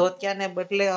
ધોતીયાના બદલે